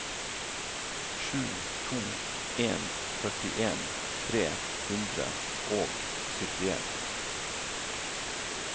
sju to en en førtien tre hundre og syttien